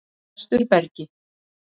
Vesturbergi